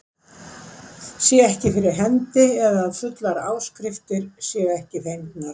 sé ekki fyrir hendi eða að fullar áskriftir séu ekki fengnar.